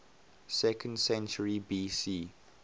second century bc